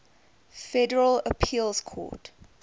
federal appeals court